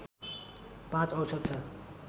५ औसत छ